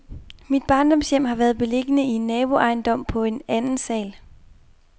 Mit barndomshjem har været beliggende i en naboejendom på en andensal.